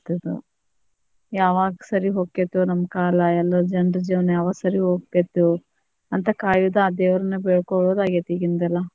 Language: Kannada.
ಇದ್ ಯಾವಾಗ್ ಸರಿ ಹೊಕ್ಕೇತೋ ನಮ್ಮ ಕಾಲ ಎಲ್ಲ ಜನರ ಜೀವನಾ ಯಾವಾಗ ಸರಿ ಹೋಗ್ತೇತೋ, ಅಂತ ಕಾಯುದಾ ಆ ದೇವ್ರನ್ನ ಬೇಡ್ಕೋಳುದ ಆಗೇತಿ ಈಗಿಂದೆಲ್ಲಾ,